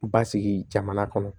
Basigi jamana kɔnɔ